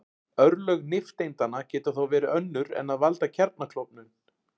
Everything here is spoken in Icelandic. Örlög nifteindanna geta þó verið önnur en að valda kjarnaklofnun.